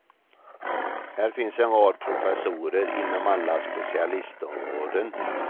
Här finns en rad professorer inom alla specialistområden.